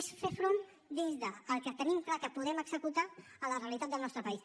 és fer front des del que tenim clar que podem executar a la realitat del nostre país